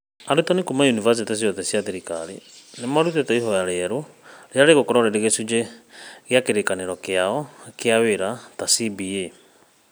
Arutani kuuma yunivasĩtĩ ciothe cia thirikari nĩ marutĩte ihoya rĩerũ rĩrĩa rĩgakorwo rĩrĩ gĩcunjĩ kĩa Kĩrĩĩkanĩro kĩao kĩa Wĩra CBA.